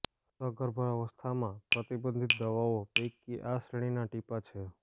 સગર્ભાવસ્થામાં પ્રતિબંધિત દવાઓ પૈકી આ શ્રેણીના ટીપાં છે